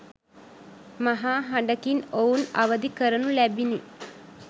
මහා හඬකින් ඔවුන් අවදි කරනු ලැබිණි.